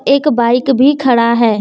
एक बाइक भी खड़ा है।